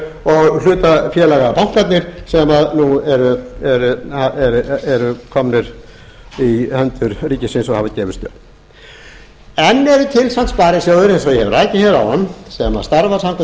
og hlutafélagabankarnir sem nú eru komnir í hendur ríkisins og hafa gefist upp enn eru til samt sparisjóðir eins og ég hef rakið hér áðan sem starfa samkvæmt